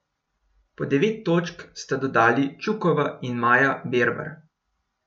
Po devet točk sta dodali Čukova in Maja Bervar.